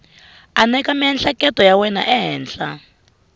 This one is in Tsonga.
aneka miehleketo ya wena ehenhla